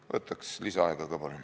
Ma võtaks lisaaega, palun!